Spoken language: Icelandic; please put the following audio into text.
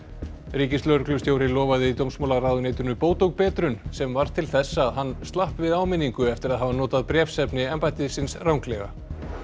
ríkislögreglustjóri lofaði dómsmálaráðuneytinu bót og betrun sem varð til þess að hann slapp við áminningu eftir að hafa notað bréfsefni embættisins ranglega